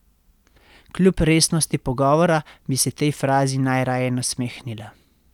Kljub resnosti pogovora bi se tej frazi najraje nasmehnila.